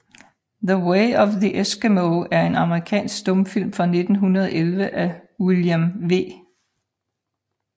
The Way of the Eskimo er en amerikansk stumfilm fra 1911 af William V